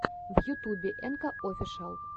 в ютубе энка офишиал